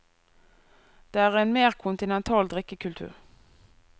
Det er en mer kontinental drikkekultur.